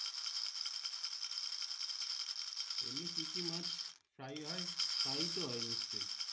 এমনি কি কি মাছ প্রাই হয় প্রাই তো হয় নিশ্চই